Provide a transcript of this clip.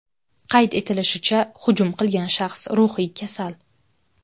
Qayd etilishicha, hujum qilgan shaxs ruhiy kasal.